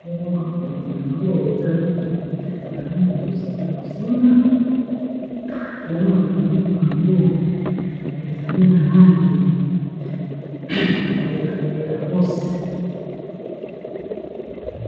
mbongo bakomeli yango ezali na langi ya bozinga bomo mafunikuna yango ezali na langi ya ross